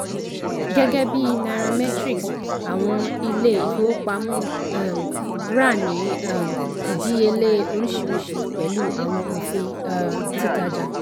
gẹ́gẹ́bí nairametrics àwọn ilé-ìfówópamọ́ um rà ní um ìdíyelé oríṣìríṣi pẹ̀lú àwọn òfin um títàjà.